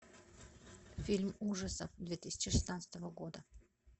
фильм ужасов две тысячи шестнадцатого года